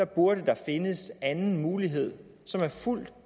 burde der findes en anden mulighed som er fuldt